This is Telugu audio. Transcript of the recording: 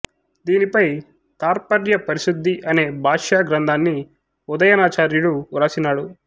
దీనిపై తాత్పర్య పరిశుద్ధి అనే భాష్య గ్రంథాన్ని ఉదయనాచార్యుడు వ్రాసినాడు